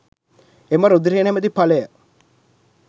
එම රුධිරය නමැති ඵලය